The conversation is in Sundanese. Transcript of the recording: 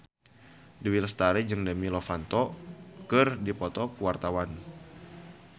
Dewi Lestari jeung Demi Lovato keur dipoto ku wartawan